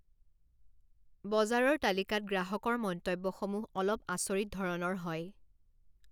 বজাৰৰ তালিকাত গ্ৰাহকৰ মন্তব্যসমূহ অলপ আচৰিত ধৰণৰ হয়।